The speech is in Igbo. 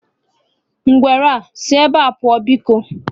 Ngwere a, sị ebea pụọ biko!